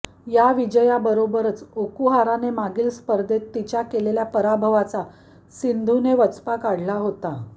या विजयाबरोबरच ओकुहाराने मागील स्पर्धेत तिच्या केलेल्या पराभवाचा सिंधूने वचपा काढला होता